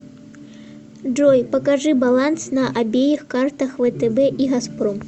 джой покажи баланс на обеих картах втб и газпром